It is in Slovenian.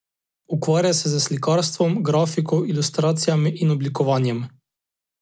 Ukvarja se s slikarstvom, grafiko, ilustracijami in oblikovanjem.